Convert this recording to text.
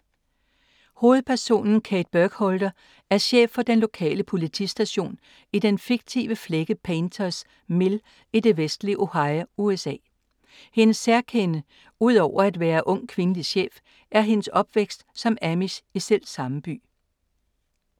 Hovedpersonen Kate Burkholder er chef for den lokale politistation i den fiktive flække Painters Mill i det vestlige Ohio, USA. Hendes særkende, ud over at være ung kvindelig chef, er hendes opvækst som amish i selvsamme by.